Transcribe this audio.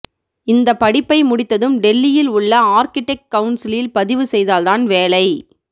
இந்த படிப்பை முடித்ததும் டெல்லியில் உள்ள ஆர்க்கிடெக்ட் கவுன்சிலில் பதிவு செய்தால் தான் வேலை